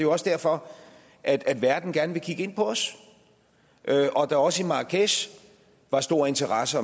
også derfor at at verden gerne vil kigge på os og der også i marrakech var stor interesse